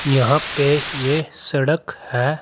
यहां पे ये सड़क है।